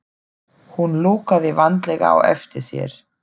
Hún lokaði vandlega á eftir sér.